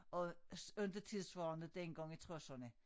Og inte tidssvarende dengang i tresserne